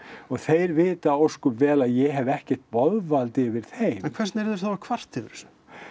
þeir vita ósköp vel að ég hef ekkert boðvald yfir þeim en hvers vegna eru þeir þá að kvarta yfir þessu